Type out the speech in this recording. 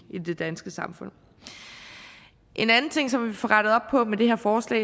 det danske samfund en anden ting som vi får rettet op på med det her forslag